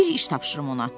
Bir iş tapşırım ona.